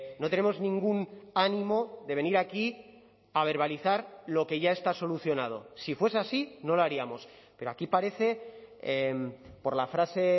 no tenemos ningún ánimo de venir aquí a verbalizar lo que ya está solucionado si fuese así no lo haríamos pero aquí parece por la frase